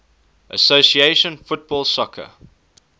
association football soccer